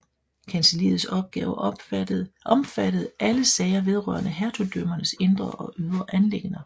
Kancelliets opgaver omfattede alle sager vedrørende hertugdømmernes indre og ydre anliggender